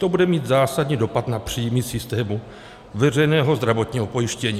To bude mít zásadní dopad na příjmy systému veřejného zdravotního pojištění.